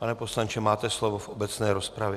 Pane poslanče, máte slovo v obecné rozpravě.